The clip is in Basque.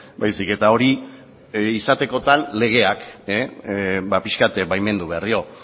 baizik eta hori izatekotan legeak ba pixkat baimendu behar dio